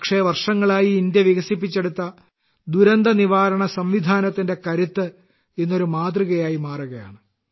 പക്ഷേ വർഷങ്ങളായി ഇന്ത്യ വികസിപ്പിച്ചെടുത്ത ദുരന്തനിവാരണ സംവിധാനത്തിന്റെ കരുത്ത് ഇന്ന് ഒരു മാതൃകയായി മാറുകയാണ്